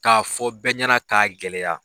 K'a fɔ bɛɛ ɲɛna k'a gɛlɛya.